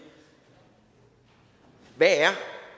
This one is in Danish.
hvad er